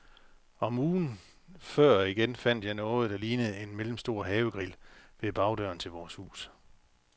Og ugen før igen fandt jeg noget, der lignede en mellemstor havegrill, ved bagdøren til vores hus.